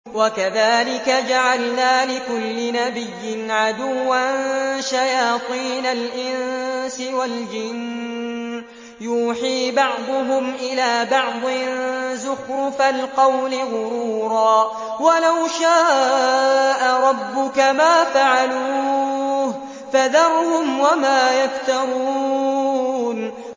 وَكَذَٰلِكَ جَعَلْنَا لِكُلِّ نَبِيٍّ عَدُوًّا شَيَاطِينَ الْإِنسِ وَالْجِنِّ يُوحِي بَعْضُهُمْ إِلَىٰ بَعْضٍ زُخْرُفَ الْقَوْلِ غُرُورًا ۚ وَلَوْ شَاءَ رَبُّكَ مَا فَعَلُوهُ ۖ فَذَرْهُمْ وَمَا يَفْتَرُونَ